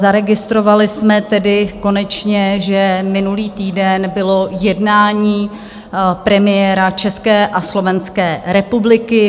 Zaregistrovali jsme tedy konečně, že minulý týden bylo jednání premiéra České a Slovenské republiky.